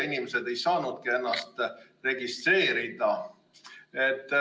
Inimesed ei saanudki ennast registreerida.